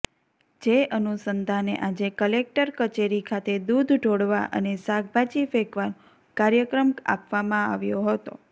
જે અનુસંધાને આજે કલેક્ટર કચેરી ખાતે દુધ ઢોળવા અને શાકભાજી ફેંકવાનો કાર્યક્રમ આપવામાં આવ્યો હતો